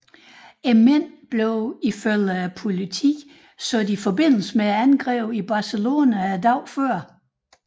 Mændene blev ifølge politiet sat i forbindelse med angrebet i Barcelona dagen før